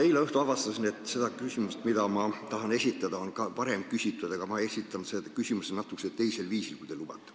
Eile õhtul avastasin, et seda küsimust, mida ma tahan esitada, on ka varem esitatud, aga küsin natuke teisel viisil, kui te lubate.